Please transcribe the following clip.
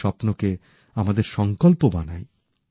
তাঁদের স্বপ্নকে আমাদের সংকল্প বানাই